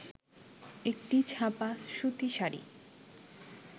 একটি ছাপা সুতি শাড়ি